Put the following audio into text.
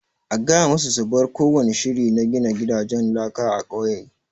A gaya ma su su bar kowani shiri na gina gidanjen laka a ƙauye!